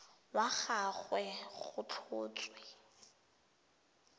wa ga gagwe go tlhotswe